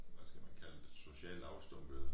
Hvad skal man kalde det socialt afstumpede